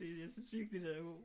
Jeg synes virkelig den er god